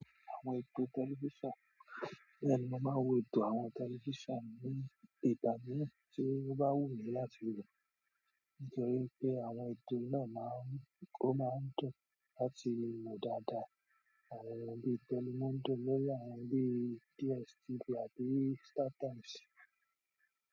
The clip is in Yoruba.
Àwọn ètò tẹlifísàn, bẹ́ẹ̀ni mo máa ń wo ètò àwọn tẹlifísàn ní ìgbà mìíràn tí ó bá wù mí láti wò. Nítorí pé àwọn ètò náà máa ń, ó máa ń dùn láti le wò dáadáa. Àwọn bí telimóndò, lórí àwọn bí DSTV àbí Startimes.